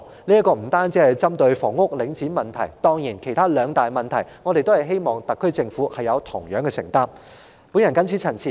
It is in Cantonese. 這不單是針對領展的問題，當然還有其他兩大問題，我們希望特區政府同樣有承擔。